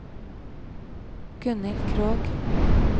Gunhild Krogh